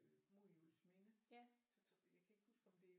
Øh mod Juelsminde jeg kan ikke huske om det